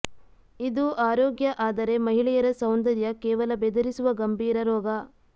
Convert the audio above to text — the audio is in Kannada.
ಇದು ಆರೋಗ್ಯ ಆದರೆ ಮಹಿಳೆಯರ ಸೌಂದರ್ಯ ಕೇವಲ ಬೆದರಿಸುವ ಗಂಭೀರ ರೋಗ